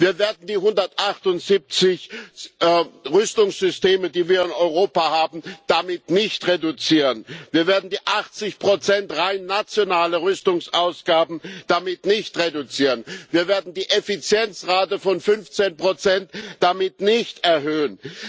Wir werden die 178 Rüstungssysteme, die wir in Europa haben, damit nicht reduzieren, wir werden die 80 rein nationaler Rüstungsausgaben damit nicht reduzieren, wir werden die Effizienzrate von 15 damit nicht erhöhen.